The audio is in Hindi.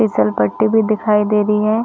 फिसलपट्टी भी दिखाई दे रही है।